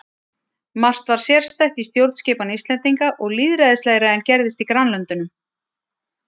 Margt var sérstætt í stjórnskipan Íslendinga og lýðræðislegra en gerðist í grannlöndunum.